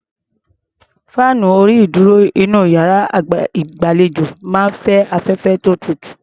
Fáànù orí-ìdúrò inú iyàrá ìgbàlejò máa ń fẹ́ afẹ́fẹ́ tó tutù.